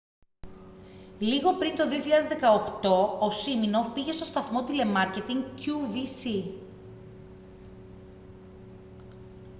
λίγο πριν το 2018 ο σίμινοφ πήγε στον σταθμό τηλεμάρκετινγκ qvc